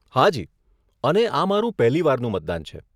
હાજી, અને આ મારું પહેલીવારનું મતદાન છે.